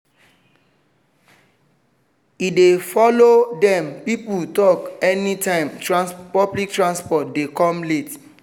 e dey follow dem people talk anytime public transport dey come late